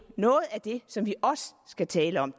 noget af det som vi også skal tale om